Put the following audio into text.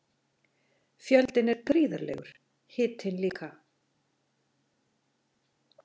Fjöldinn er gríðarlegur, hitinn líka.